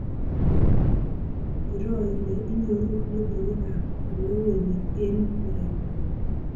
Iroo ile inyoru logoiywekab oleu emet eng koreng'ung